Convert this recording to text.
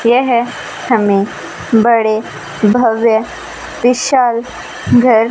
यह हमें बड़े भव्य विशाल घर--